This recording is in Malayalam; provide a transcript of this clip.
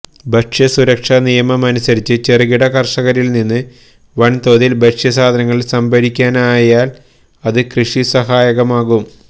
ഭക്ഷ്യസുരക്ഷാ നിയമമനുസരിച്ച് ചെറുകിട കര്ഷകരില്നിന്ന് വന്തോതില് ഭക്ഷ്യധാന്യങ്ങള് സംഭരിക്കാനായാല് അത് കൃഷിക്ക് സഹായകമാകും